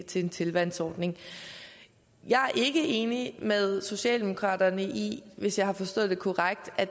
til en tilvalgsordning jeg er ikke enig med socialdemokraterne i hvis jeg har forstået det korrekt at